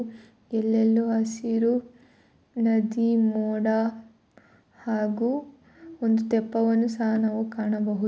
ಎಲ್ಲೆಲ್ಲೋ ಹಸಿರು ನದಿ ಮೋಡ ಹಾಗು ಒಂದು ತೆಪ್ಪವನ್ನು ಸಹಾ ನಾವು ಕಾಣಾಬಹುದು